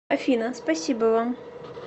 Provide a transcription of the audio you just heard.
афина спасибо вам